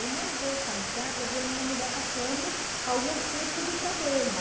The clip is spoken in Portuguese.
Eu não vou casar para ver a minha mulher passando algum tipo de problema.